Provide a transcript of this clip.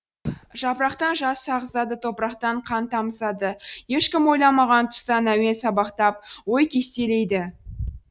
жапырақтан жас ағызады топырақтан қан тамызады ешкім ойламаған тұстан әуен сабақтап ой кестелейді